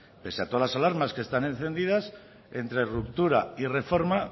pese a todas las alarmas que están encendidas entre ruptura y reforma